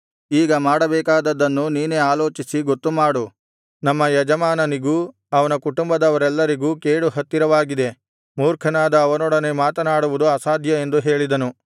ಈಗ ಮಾಡಬೇಕಾದದ್ದನ್ನು ನೀನೇ ಆಲೋಚಿಸಿ ಗೊತ್ತುಮಾಡು ನಮ್ಮ ಯಜಮಾನನಿಗೂ ಅವನ ಕುಟುಂಬದವರೆಲ್ಲರಿಗೂ ಕೇಡು ಹತ್ತಿರವಾಗಿದೆ ಮೂರ್ಖನಾದ ಅವನೊಡನೆ ಮಾತನಾಡುವುದು ಅಸಾಧ್ಯ ಎಂದು ಹೇಳಿದನು